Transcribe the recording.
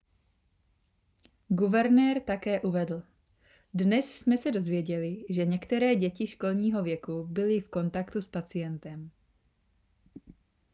guvernér také uvedl dnes jsme se dozvěděli že některé děti školního věku byly v kontaktu s pacientem